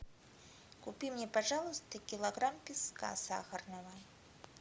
купи мне пожалуйста килограмм песка сахарного